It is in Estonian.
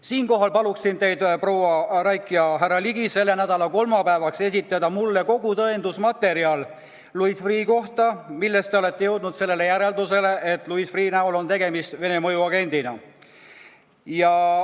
Siinkohal palun teid, proua Raik ja härra Ligi, esitada mulle selle nädala kolmapäevaks kogu tõendusmaterjal Louis Freeh' kohta, mille põhjal te olete jõudnud järeldusele, et tema näol on tegemist Vene mõjuagendiga.